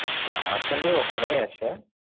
না আসেনি ওখানেই আছে।